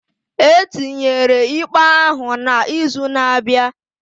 Etinyere ikpe ahụ na izu na abịa